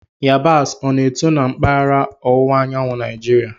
Yabasị, o na-eto na mpaghara ọwụwa anyanwụ Naijiria?